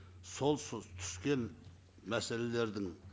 сол түскен мәселелердің